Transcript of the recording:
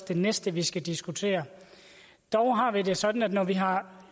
det næste vi skal diskutere dog har vi det sådan at når vi har